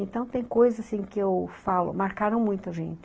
Então, tem coisas assim que eu falo, marcaram muito a gente.